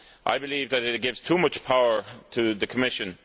I believe that it gives too much power to the Commission.